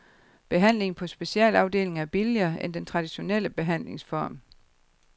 Behandlingen på specialafdelinger er billigere end den traditionelle behandlingsform.